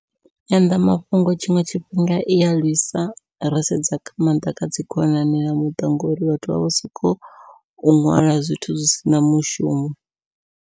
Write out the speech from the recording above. Nyanḓamafhungo tshiṅwe tshifhinga ia lwisa, ro sedza nga maanḓa kha dzi khonani na muṱa ngori vhathu vha vho sokou ṅwala zwithu zwi sina mushumo.